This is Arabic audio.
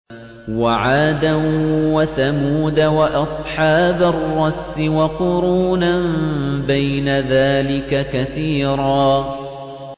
وَعَادًا وَثَمُودَ وَأَصْحَابَ الرَّسِّ وَقُرُونًا بَيْنَ ذَٰلِكَ كَثِيرًا